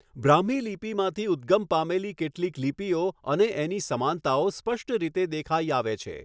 બ્રાહ્મી લિપિમાંથી ઉદ્ગમ પામેલી કેટલીક લિપિઓ અને એની સમાનતાઓ સ્પષ્ટ રીતે દેખાઈ આવે છે.